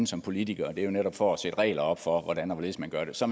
som politikere det er jo netop for at sætte regler op for hvordan og hvorledes man gør det så